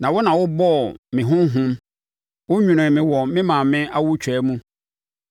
Na wo na wobɔɔ me honhom wonwonoo me wɔ me maame awotwaa mu.